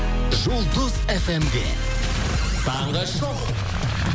жұлдыз фм де таңғы шоу